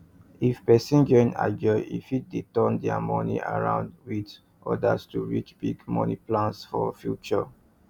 if person join ajo e fit dey turn their money round with others to reach big money plans for future